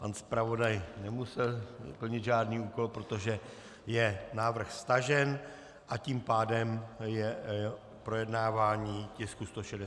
Pan zpravodaj nemusel plnit žádný úkol, protože je návrh stažen, a tím pádem je projednávání tisku 166 ukončeno.